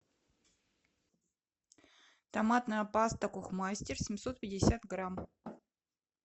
томатная паста кухмастер семьсот пятьдесят грамм